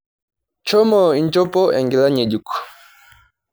Shomo inchopo enkila ng'ejuk.